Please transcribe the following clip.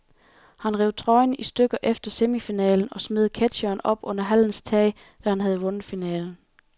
Han rev trøjen i stykker efter semifinalen og smed ketsjeren op under hallens tag, da han havde vundet finalen.